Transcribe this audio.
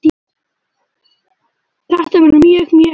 Þetta verður mjög, mjög erfitt.